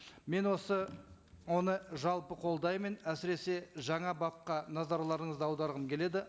мен осы оны жалпы қолдаймын әсіресе жаңа бапқа назарларыңызды аударғым келеді